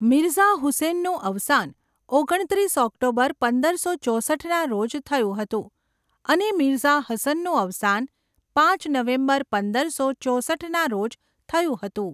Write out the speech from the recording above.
મિર્ઝા હુસૈનનું અવસાન ઓગણત્રીસ ઓક્ટોબર પંદરસો ચોસઠના રોજ થયું હતું અને મિર્ઝા હસનનું અવસાન પાંચ નવેમ્બર પંદરસો ચોસઠના રોજ થયું હતું.